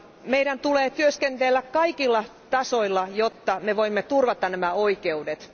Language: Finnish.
Meidän tulee työskennellä kaikilla tasoilla, jotta me voimme turvata nämä oikeudet.